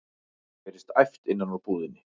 heyrist æpt innan úr búðinni.